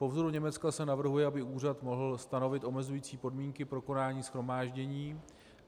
Po vzoru Německa se navrhuje, aby úřad mohl stanovit omezující podmínky pro konání shromáždění.